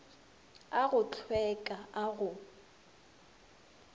a go hlweka a go